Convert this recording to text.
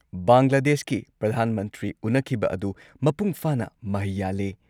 ꯕꯪꯒ꯭ꯂꯥꯗꯦꯁꯀꯤ ꯄ꯭ꯔꯙꯥꯟ ꯃꯟꯇ꯭ꯔꯤ ꯎꯟꯅꯈꯤꯕ ꯑꯗꯨ ꯃꯄꯨꯡ ꯐꯥꯅ ꯃꯍꯩ ꯌꯥꯜꯂꯦ ꯫